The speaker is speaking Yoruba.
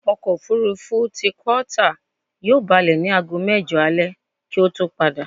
Ọkọ̀̀-òfurufú ti Qatar yóò balẹ̀ ní aago mẹ́jọ alẹ kí ó tó padà.